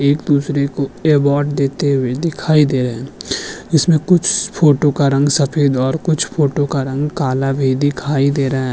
एक दुसरे को एवॉड देते हुए दिखाई दे रहें हैं इस में कुछ फोटो का रंग सफेद और कुछ फोटो का रंग काला भी दीखाई दे रहा है।